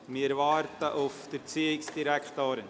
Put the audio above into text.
Wir warten auf die Erziehungsdirektorin.